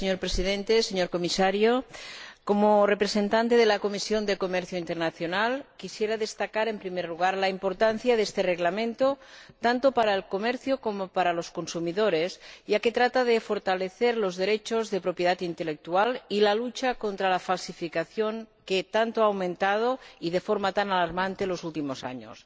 Señor Presidente, señor Comisario, como representante de la Comisión de Comercio Internacional quisiera destacar, en primer lugar, la importancia de este Reglamento, tanto para el comercio como para los consumidores, ya que trata de fortalecer los derechos de propiedad intelectual y la lucha contra la falsificación, que tanto ha aumentado y de forma tan alarmante en los últimos años.